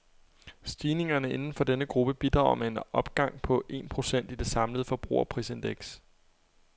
Stigningerne inden for denne gruppe bidrager med en opgang på en procent i det samlede forbrugerprisindeks.